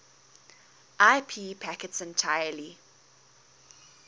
ip packets entirely